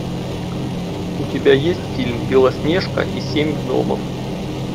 у тебя есть фильм белоснежка и семь гномов